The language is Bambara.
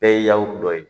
Bɛɛ ye yawu dɔ ye